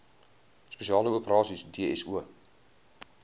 spesiale operasies dso